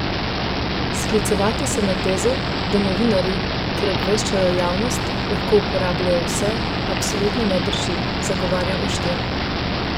Sklicevati se na tezo, da novinarji, ker obveščajo javnost, lahko uporabljajo vse, absolutno ne drži, zagovarja Oštir.